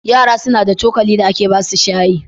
Yara suna da cokali da ake ba su shayi.